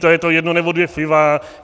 To je to jedno nebo dvě piva.